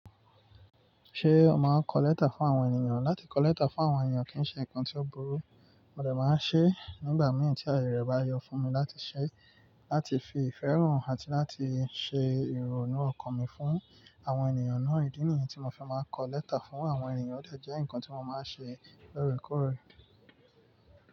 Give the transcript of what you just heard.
Ṣé o máa kọ lẹ́tà fún àwọn ènìyàn? Látí kọ lẹ́tà fún àwọn ènìyàn kì í ṣe nǹkan tí ó burú. Mo dẹ̀ máa ń ṣe é nígbà mẹ́ẹ̀ tí ayé rẹ̀ bá yọ fún mi látí ṣe é, látí fi ìfẹ́ hàn àti látí ṣe ìrònú ọkàn mi fún àwọn ènìyàn náà. Ìdí nìyí tí mo fi máa kọ lẹ́tà fún àwọn ènìyàn, ó de jẹ́ nǹkan tí mo máa ń ṣe lóòrèkóòrè.